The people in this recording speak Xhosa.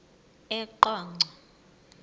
eqonco